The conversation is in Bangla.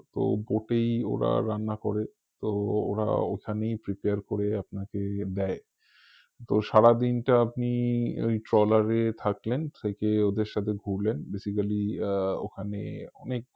তো boat এই ওরা রান্না করে তো ওরা ওখানেই prepare করে আপনাকে দেয় তো সারা দিনটা আপনি ঐ ট্রলার এ থাকলেন থেকে ওদের সাথে ঘুরলেন basically আহ ওখানে অনেক